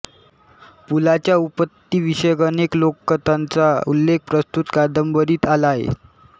पुलाच्या उत्पत्तीविषयक अनेक लोककथांचा उल्लेख प्रस्तुत कादंबरीत आला आहे